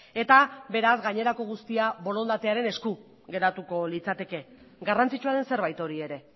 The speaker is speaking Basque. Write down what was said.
eta beraz gainerako guztia borondatearen esku geratuko litzateke garrantzitsua den zerbait hori ere